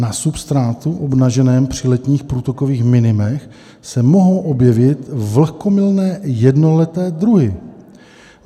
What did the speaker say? Na substrátu obnaženém při letních průtokových minimech se mohou objevit vlhkomilné jednoleté druhy.